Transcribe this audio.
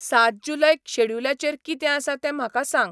सात जुलैक शॅड्युलाचेर कितें आसा तें म्हाका सांग